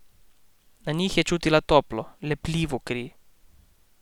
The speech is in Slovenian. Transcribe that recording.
Na njih je čutila toplo, lepljivo kri.